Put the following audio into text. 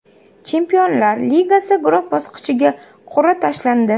Chempionlar Ligasi guruh bosqichiga qur’a tashlandi.